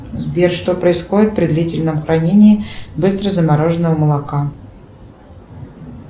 сбер что происходит при длительном хранении быстрозамороженного молока